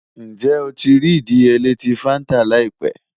Njẹ o ti rii idiyele ti fanta laipẹ?